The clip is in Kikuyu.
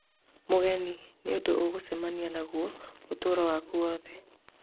Mũgeni: "nĩũndũ ũgũcemania naguo ũtũro waku wothe"